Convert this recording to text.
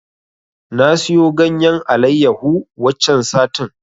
Na siyo ganyen Alayyahu waccen satin.